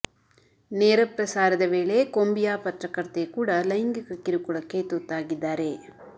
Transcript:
ನೇರ ಪ್ರಸಾರದ ವೇಳೆ ಕೊಂಬಿಯಾ ಪತ್ರಕರ್ತೆ ಕೂಡ ಲೈಂಗಿಕ ಕಿರುಕುಳಕ್ಕೆ ತುತ್ತಾಗಿದ್ದಾರೆ